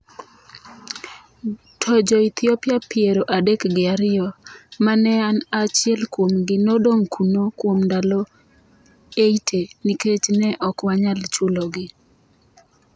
To Jo-Ethiopia piero adek gi ariyo, ma ne an achiel kuom gi, nodong’ kuno kuom ndalo 80 nikech ne ok wanyal chulogi .